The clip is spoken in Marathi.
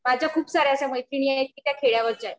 माझ्या खूप साऱ्या अश्या मैत्रिणी आहेत कि त्या खेड्यावरच्या आहेत